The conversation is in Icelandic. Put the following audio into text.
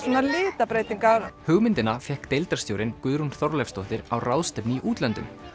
litabreytingar hugmyndina fékk deildarstjórinn Guðrún Þorleifsdóttir á ráðstefnu í útlöndum